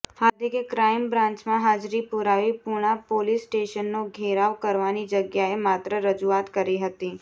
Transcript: હાર્દિકે crime બ્રાન્ચમાં હાજરી પુરાવી પુણા પોલીસ સ્ટેશનનો ઘેરાવ કરવાની જગ્યાએ માત્ર રજૂઆત કરી હતી